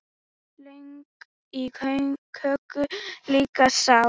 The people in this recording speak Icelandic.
Lög í köku líka sá.